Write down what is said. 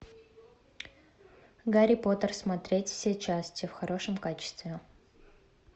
гарри поттер смотреть все части в хорошем качестве